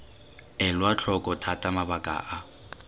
elwa tlhoko thata mabaka a